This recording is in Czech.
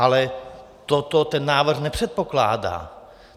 Ale toto ten návrh nepředpokládá.